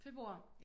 Februar?